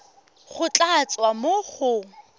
go tla tswa mo go